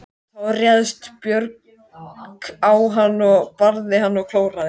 Þá réðst Björg á hann, barði hann og klóraði.